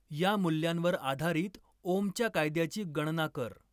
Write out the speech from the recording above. या मूल्यांवर आधारित ओमच्या कायद्याची गणना कर